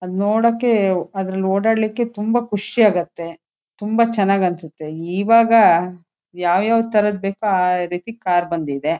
ಅದ ನೋಡೋಕ್ಕೆ ಅದ್ದರಲ್ಲಿ ಓಡಾಡೋಕ್ಕೆ ತುಂಬಾ ಖುಷಿಯಾಗುತ್ತೆ ತುಂಬಾ ಚೆನ್ನಾಗ ಅನ್ಸುತ್ತೆ ಇವಾಗ ಯಾವ ಯಾವ ತರಹದ್ ಬೇಕು ಆ ಆ ರೀತಿ ಕಾರ್ ಬಂದಿದ್ದೆ.